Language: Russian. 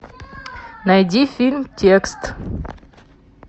найди фильм текст